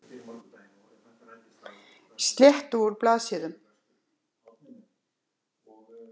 Slétti úr blaðsíðum.